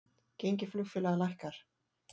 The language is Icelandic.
Gengi flugfélaga lækkar